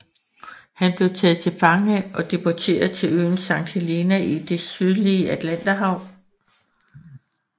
Han blev taget til fange og deporteret til øen Sankt Helena i det sydlige Atlanterhav